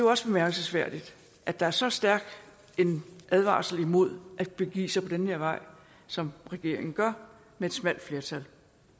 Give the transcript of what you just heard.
også bemærkelsesværdigt at der er så stærk en advarsel mod at begive sig på den her vej som regeringen gør med et smalt flertal